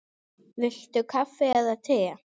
Viltu kaffi eða te?